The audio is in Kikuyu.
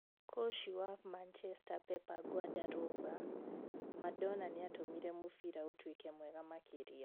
Kũci wa Macheta Pepa Nguandaro auga" Madona Nĩatũmire mũbĩra ũtũĩke mwega makĩria".